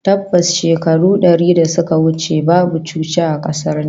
Tabbas, shekaru dari da suka wuce babu coci a kasar nan